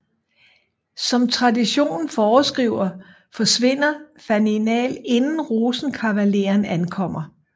Som traditionen foreskriver forsvinder Faninal inden Rosenkavaleren ankommer